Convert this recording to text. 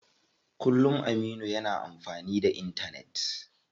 Kullum Aminu yana amfani da intanet.